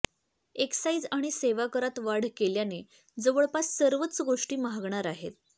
excise आणि सेवाकरात वाढ केल्याने जवळपास सर्वच गोष्ट महागणार आहेत